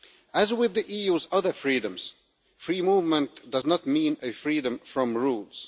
As with the EU's other freedoms, free movement does not mean freedom from rules.